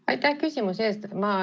Aitäh küsimuse eest!